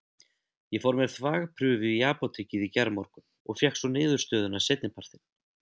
Ég fór með þvagprufu í apótekið í gærmorgun og fékk svo niðurstöðuna seinni partinn.